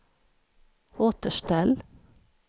återställ